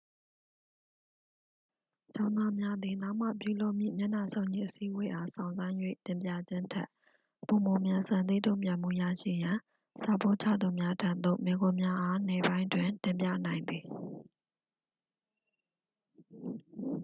ကျောင်းသားများသည် နောက်မှပြုလုပ်မည့် မျက်နှာစုံညီအစည်းအဝေးအား စောင့်ဆိုင်း၍ တင်ပြခြင်းထက် ပိုမိုမြန်ဆန်သည့် တုံ့ပြန်မှုရရှိရန် စာပို့ချသူများထံသို့ မေးခွန်းများအား နေ့ပိုင်းတွင် တင်ပြနိုင်သည်